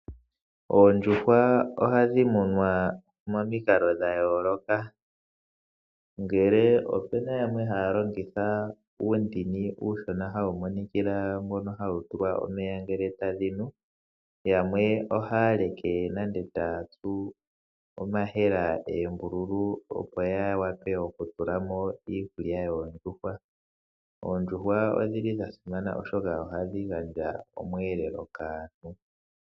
Oondjuhwa ohadhi munwa momikalo dha yooloka. Ngele opena yamwe haya longitha uundini uushona hawu monikila mbono hawu tulwa omeya ngele tadhi nu, yamwe ohaya leke nande taatsu omahela eembululu opo ya wape okutula mo iikulya yoondjuhwa. Oondjuhwa odhili dha simana oshoka ohadhi gandja omweelelo kaantu.